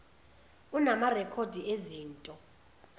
unama rekhodi ezinto